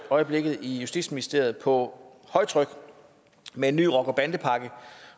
øjeblikket i justitsministeriet på højtryk med en ny rocker og bandepakke